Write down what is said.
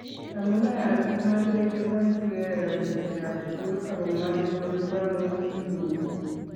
Amune asiimache iliponchikey rapisyek ap sugul ako mache kolipanun sigikuk.